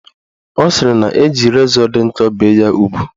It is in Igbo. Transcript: Ọ sịrị na-eji rezọ dị nkọ bee ya ugwu